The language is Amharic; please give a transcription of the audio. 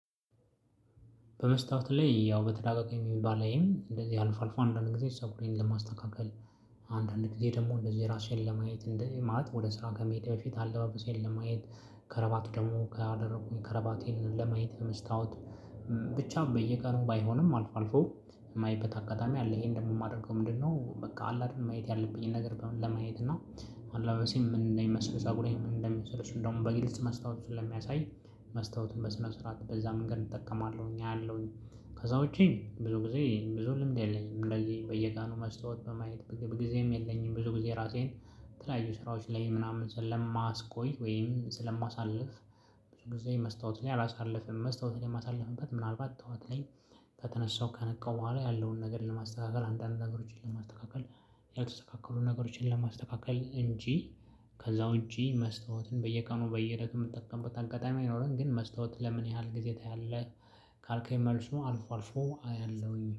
በመስታወት ላይ ያው በተደጋጋሚ ባላይም እንደዚህ አልፎ አልፎ አንዳንድ ጊዜ ፀጉሬን ለማስተካከል አንዳንድ ጊዜ ደግሞ እንደዚህ ራሴን ለማየት እንደዚህ ማለት ወደ ስራ ከመሄዴ በፊት አለባበሴን ለማየት። ከረባቱ ደግሞ ካደረኩኝ ከረባቴን ለማየት መስታወት። ብቻም በየቀኑ ባይሆንም አልፎ አልፎ የማይበት አጋጣሚ አለ ይሄን ደግሞ ማደርገው ምንድነው? በቃ አለ አይደል ማየት ያለብኝን ነገር ለማየት እና አላበሴ ምን ጸጉሬም ምን እንደሚመስል እሱን ደግሞ በግልጽ መስታወቱ ስለሚያሳይ መስታወቱን በስነ ስርዓት በዛ መንገድ እጠቀማለሁኝ አያለሁኝ። ከዛ ውጪ ብዙ ጊዜ ብዙ ልምድ የለኝም። እንደዚህ በየቀኑ መስታወት በማየት ብዙ ጊዜም የለኝም። ብዙ ጊዜ ራሴን በተለያዩ ስራዎች ላይ ምናምን ስለማስቆይ ወይም ስለማሳልፍ። ብዙ ጊዜ መስታወት ላይ አላሳልፍም መስታወት ላይ የማሳልፍበት ምናልባት ጠዋት ላይ ከተነሳው ከነቃው በኋላ ያለውን ነገር ለማስተካከል አንዳንድ ነገሮችን ለማስተካከል ያልተስተካከሉ ነገሮችን ለማስተካከል እንጂ። ከዛ ውጪ መስታወትን በየቀኑ በየለቱ የምጠቀምበት አጋጣሚ አይኖረን። ግን መስታወት ለምን ያህል ጊዜ ታያለህ? ካልከኝ መልሱ አልፎ አልፎአያለሁሀውኝ